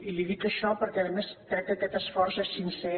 i li dic això perquè a més crec que aquest esforç és sincer